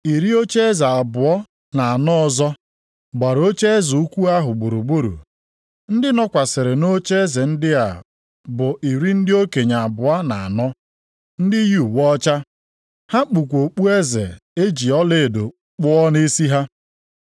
Iri ocheeze abụọ na anọ ọzọ, gbara ocheeze ukwu ahụ gburugburu. Ndị nọkwasịrị nʼocheeze ndị a bụ iri ndị okenye abụọ na anọ, ndị yi uwe ọcha. Ha kpukwa okpueze e ji ọlaedo kpụọ nʼisi ha.